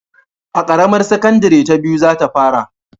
A ƙaramar sakandare ta biyu za ta fara